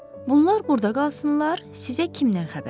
Bunlar burda qalsınlar, sizə kimdən xəbər verim?